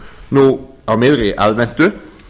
nú á miðri aðventu